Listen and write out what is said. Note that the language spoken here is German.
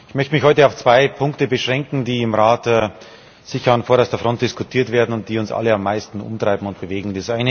Ich möchte mich heute auf zwei Punkte beschränken, die im Rat sicher an vorderster Front diskutiert werden und die uns alle am meisten umtreiben und bewegen.